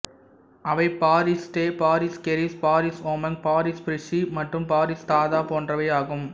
அவை பாரிஸ் டெ பாரிஸ் கெரிஸ் பாரிஸ் ஒமாங் பாரிஸ் பிரீசி மற்றும் பாரிஸ் தாதப் போன்றவை ஆகும்